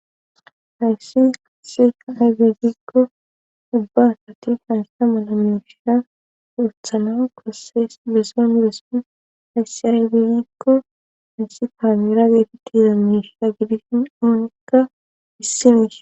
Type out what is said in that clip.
Hayssi kasea aygagikko ubbasa tursasta mana mioshiya woothana kosses bese miressun hayssi aregeyeekko haayssi taamira gaefi tiza miishaa gidisin oonikka issimees